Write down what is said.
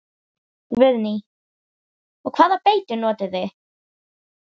Guðný: Og hvaða beitu notið þið?